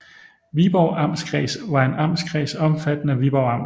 Viborg Amtskreds var en amtskreds omfattende Viborg Amt